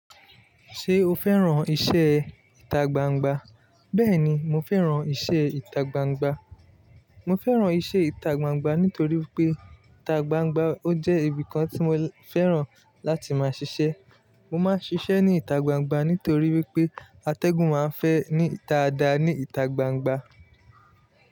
Ṣé o fẹ́ràn iṣẹ́ ìta gbangba? Bẹ́ẹ̀ni, mo fẹ́ràn iṣẹ́ ìta gbangba. Mo fẹ́ràn iṣẹ́ ìta gbangba nítorí pé ìta gbangba ó jẹ́ ibìkan tí mo fẹ́ràn láti máa ṣiṣẹ́. Mo máa ń ṣiṣẹ́ ní ìta gbangba nítorí wípé atẹ́gùn máa ń fẹ́ ní ìta ada ní ìta gbangba.